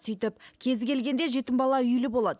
сөйтіп кезі келгенде жетім бала үйлі болады